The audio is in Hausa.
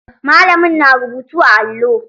Malamin na rubutu a allo.